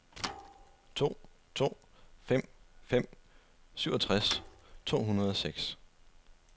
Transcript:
to to fem fem syvogtres to hundrede og seks